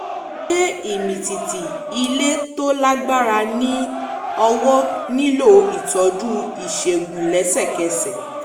ṣé ìmìtìtì um ilẹ̀ tó lágbára ní ọwọ́ nílò ìtọ́jú ìṣègùn lẹ́sẹ̀kẹsẹ̀?